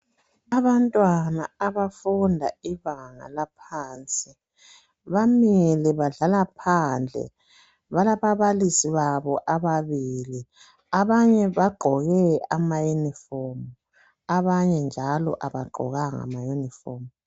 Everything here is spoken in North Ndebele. Abantwana abafunda ibanga laphansi bamile badlala phandle, balababalisi babo ababili. Abanye bagqoke amayunifomu, abanye njalo abagqokanga mayunifomu.